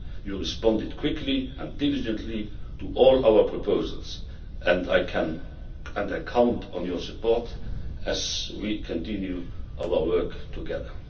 You responded quickly and diligently to all of our proposals, and I count on your support as we continue our work together.